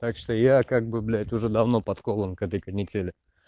так что я как бы блять уже давно подкован к этой канители